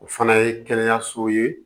O fana ye kɛnɛyasow ye